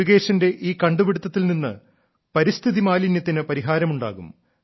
മുരുകേശന്റെ ഈ കണ്ടുപിടുത്തത്തിൽ നിന്ന് പരിസ്ഥിതി മാലിന്യത്തിന് പരിഹാരമുണ്ടാകും